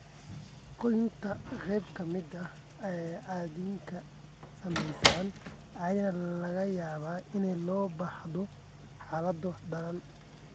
Goynta qayb ka mid ah addinka ay saamaysay ayaa laga yaabaa in loo baahdo xaalado daran.